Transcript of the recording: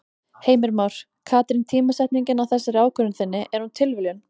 Heimir Már: Katrín tímasetningin á þessari ákvörðun þinni, er hún tilviljun?